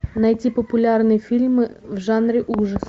найти популярные фильмы в жанре ужасы